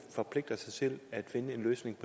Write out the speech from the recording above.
forpligter sig til at finde en løsning